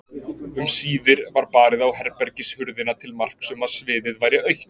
Um síðir var barið á herbergishurðina til marks um að sviðið væri autt.